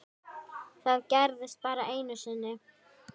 Það gerðist bara einu sinni.